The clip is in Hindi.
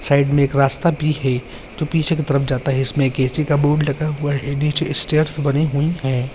साइड में एक रास्ता भी है जो पीछे की तरफ़ जाता है इसमें एक ए.सी. का बोर्ड लगा हुआ है नीचे स्टेअर्स बने हुए हैं।